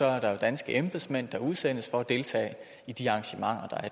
er der jo danske embedsmænd der udsendes for at deltage i de arrangementer